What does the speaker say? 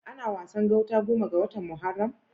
Ana Wasan gauta goma ga watan Muharram.